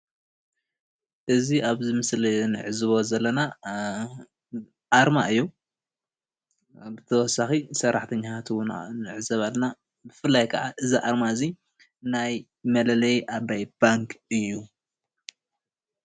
እዚ ኣብዚ ምስሊ እንዕዘቦ ዘለና ኣርማ እዩ፡፡ ብተወሳኪ ሰራሕተኛታት እውን ንዕዘብ ኣለና፡፡ ብፍላይ ከዓ እዚ ኣርማ እዚ ናይ መለለይ ኣባይ ባንኪ እዩ፡፡